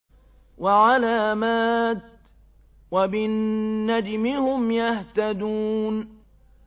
وَعَلَامَاتٍ ۚ وَبِالنَّجْمِ هُمْ يَهْتَدُونَ